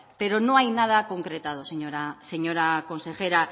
pero no hay nada concretado señora consejera